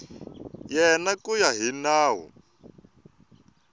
yena ku ya hi nawu